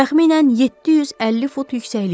Təxminən 750 fut yüksəklikdə.